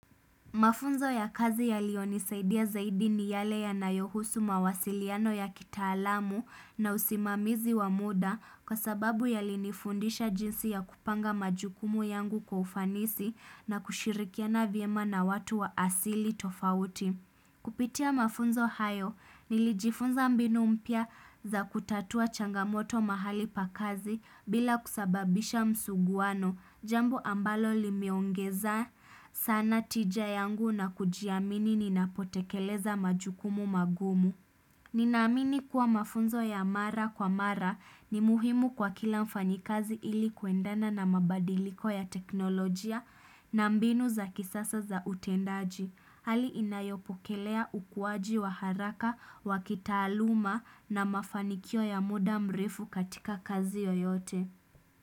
Mafunzo ya kazi yaliyonisaidia zaidi ni yale yanayohusu mawasiliano ya kitaalamu, na usimamizi wa muda, kwa sababu yalinifundisha jinsi ya kupanga majukumu yangu kwa ufanisi na kushirikiana vyema na watu wa asili tofauti. Kupitia mafunzo hayo nilijifunza mbinu mpya za kutatua changamoto mahali pa kazi bila kusababisha msuguano. Jambo ambalo limeongeza sana tija yangu na kujiamini ninapotekeleza majukumu magumu. Ninaamini kuwa mafunzo ya mara kwa mara ni muhimu kwa kila mfanyakazi ili kuendana na mabadiliko ya teknolojia na mbinu za kisasa za utendaji. Hali inayopokelea ukuaji wa haraka, wa kitaaluma na mafanikio ya muda mrefu katika kazi yoyote.